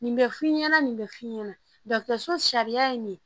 Nin bɛ f'i ɲɛna nin bɛ f'i ɲɛna dɔgɔtɔrɔso sariya ye nin ye